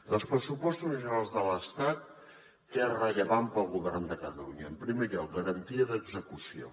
dels pressupostos generals de l’estat què és rellevant pel govern de catalunya en primer lloc garantia d’execució